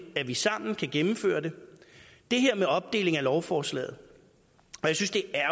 at vi sammen kan gennemføre det det her med opdelingen af lovforslaget